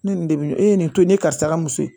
Ne nin de bɛ e nin to nin karisa ka muso ye